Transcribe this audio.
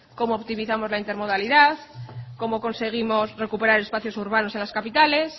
cómo optimizamos la intermodalidad cómo conseguimos recuperar los espacios urbanos en las capitales